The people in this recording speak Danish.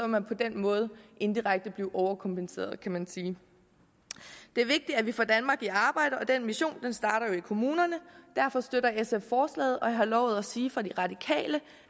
man på den måde indirekte blive overkompenseret kan man sige det er vigtigt at vi får danmark i arbejde og den mission starter jo i kommunerne derfor støtter sf forslaget og jeg har lovet at sige fra de radikale